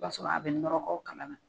I b'a sɔrɔ a bɛ nɔrɔgɔ kala na.